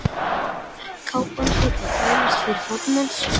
Kápan hlyti að þvælast fyrir fótum hans.